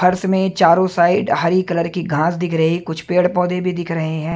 फर्श में चारों साइड हरी कलर की घास दिख रही कुछ पेड़ पौधे भी दिख रहे हैं।